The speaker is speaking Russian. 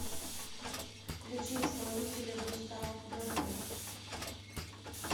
включи исполнителя густав мэхлер